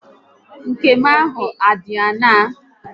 Nke m ahụ adị aṅaa?